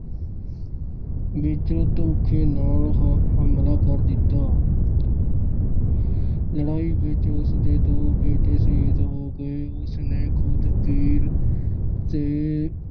ਵਿੱਚ ਧੋਖੇ ਨਾਲ ਹਾ ਅਹ ਹਮਲਾ ਕਰ ਦਿੱਤਾ। ਲੜਾਈ ਵਿੱਚ ਉਸ ਦੇ ਦੋ ਬੇਟੇ ਸ਼ਹੀਦ ਹੋ ਗਏ। ਉਸ ਨੇ ਖੁਦ ਪੀਰ ਦੇ